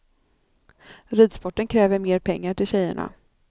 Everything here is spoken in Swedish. Ridsporten kräver mer pengar till tjejerna.